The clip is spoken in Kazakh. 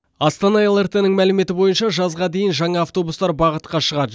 астана лрт ның мәліметі бойынша жазға дейін жаңа автобустар бағытқа шығады